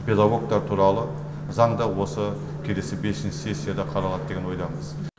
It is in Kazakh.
педагогтар туралы заң да осы келесі бесінші сессияда қаралады деген ойдамыз